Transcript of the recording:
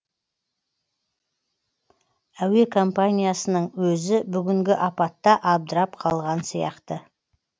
әуе компаниясының өзі бүгінгі апатта абдырап қалған сияқты